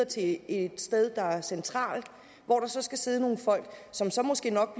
til et sted der er centralt hvor der så skal sidde nogle folk som så måske nok